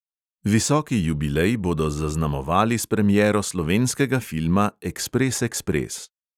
Visoki jubilej bodo zaznamovali s premiero slovenskega filma ekspres, ekspres.